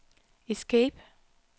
escape